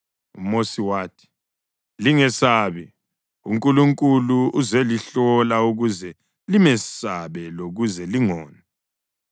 UMosi wathi, “Lingesabi, uNkulunkulu uzelihlola ukuze limesabe lokuze lingoni.”